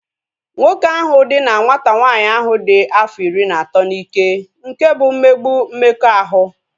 Nwoke ahụ dina nwata nwanyị ahu dị afọ iri na atọ n'ike nke bụ mmegbu mmekọahụ